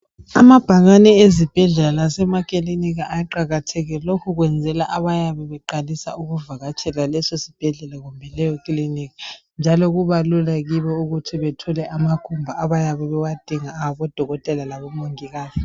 Amabhakane ezibhedlela lasemakilinika aqakathekile lokhu kwenzelwa abayabe beqalisa ukuvakatshela leso sibhedlela kumbe leyo kiliniki njalo kuba lula kibo ukuthi bathole ama phepha abayabe bewadinga abo dokotela labo mongikazi.